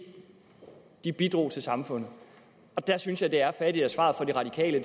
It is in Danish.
bidrog til samfundet der synes jeg at det er fattigt at svaret fra de radikale